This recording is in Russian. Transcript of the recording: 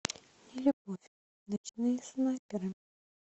нелюбовь ночные снайперы